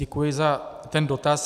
Děkuji za ten dotaz.